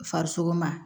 Farisoko ma